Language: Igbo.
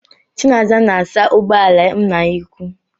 Chinasa na-asa ụgbọala nna ya ukwuu.